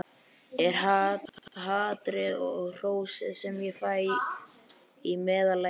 Er hatrið og hrósið sem ég fæ í meðallagi?